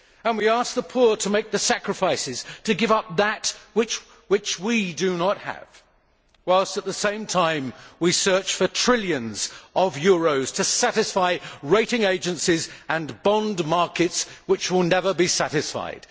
We ask the poor to make the sacrifices and give up that which they do not have, whilst at the same time we search for trillions of euros to satisfy rating agencies and bond markets which will never be satisfied.